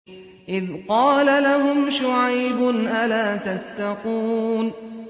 إِذْ قَالَ لَهُمْ شُعَيْبٌ أَلَا تَتَّقُونَ